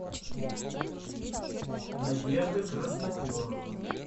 надежда красноперова